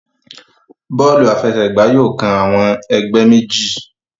Bóòlù àfẹsẹ̀gbá yóò kán awon ègbé méjì.